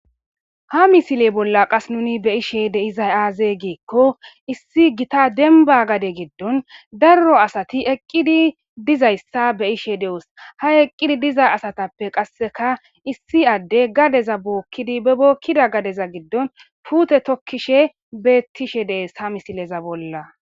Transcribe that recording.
Haa missile bolla qasi be'ishshii dizayi azee gikko issi Gita denibba gade giddonni daro asati eqidi dizayissa be'ishshe de'eos.haa eqidi diza asatappekka qasekka issi adeyi gadezza bookidi bee bookida gadeza giddonni putee tokishshe betishshe de'ees.haa misilezza bolla